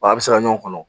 Wa a bɛ se ka ɲɔgɔn kɔnɔ